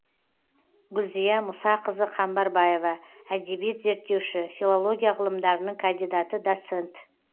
гүлзия мұсақызы қамбарбаева әдебиет зерттеуші филология ғылымдарының кандидаты доцент